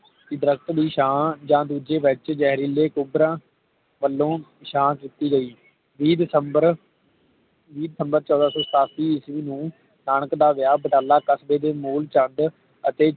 ਦਰੱਖਤ ਦੀ ਛਾਂ ਜਾ ਦੂਜੇ ਵਿਚ ਜ਼ਹਿਰੀਲੇ ਕੁਕਰਾਂ ਵਲੋਂ ਛਾਂ ਕੀਤੀ ਗਈ ਵੀਹ ਦਸੰਬਰ ਵੀਹ ਦਸੰਬਰ ਚੌਦਹ ਸੌ ਸਤਾਸੀ ਈਸਵੀ ਨੂੰ ਨਾਨਕ ਦਾ ਵੀਆਹ ਬਟਾਲਾ ਤਖ਼ਤੀ ਦੇ ਮੂਲਚੰਦ ਅਤੇ